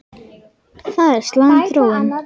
Það er slæm þróun.